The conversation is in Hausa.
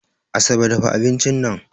Asabe dafa abincin nan